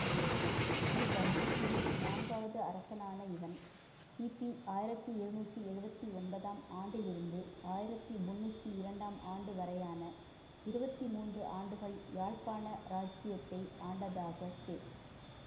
இவ் வம்சத்தின் நான்காவது அரசனான இவன் கிபி ஆயிரத்தி இருநூற்றி எழுவத்தி ஒன்பதாம் ஆண்டிலிருந்து ஆயிரத்தி முன்னூற்றி இரண்டாம் ஆண்டு வரையான இருபத்தி மூன்று ஆண்டுகள் யாழ்ப்பாண இராச்சியத்தை ஆண்டதாக செ